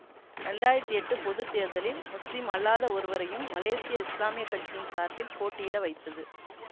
இரண்டு ஆயிரத்தி எட்டு பொது தேர்தலில் முஸ்லீம் அல்லாத ஒருவரையும் மலேசிய இஸ்லாமிய கட்சியின் சார்பில் போட்டியிட வைத்தது